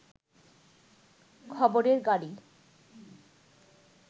খবরের গাড়ি